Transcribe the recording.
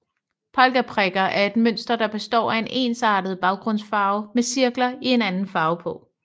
Polkaprikker er et mønster der består af en ensartet baggrundsfarve med cirkler i en anden farve på